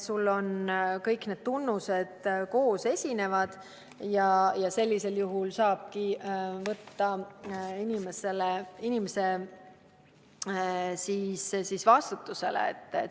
Kõik need tunnused peavad koos esinema ja sellisel juhul saabki võtta inimese vastutusele.